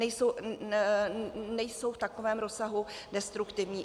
Nejsou v takovém rozsahu destruktivní.